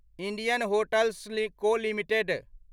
Indian hotels co limited